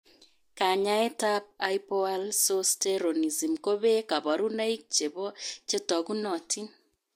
Kanyaetap haipoalsosteronism kopee kaparunoik chepoo chetogunotin.